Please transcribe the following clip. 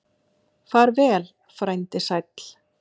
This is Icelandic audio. Far vel, frændi sæll.